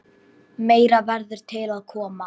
Meira verður til að koma.